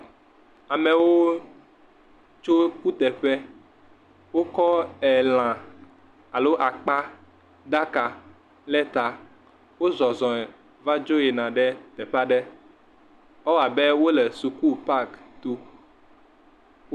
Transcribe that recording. Amewo tso kutuƒe. Wokɔ elã alo akpaɖaka le ta. Wozɔzɔm va dzo yina ɖe teƒe aɖe. Ewɔ abe wole suku pak to.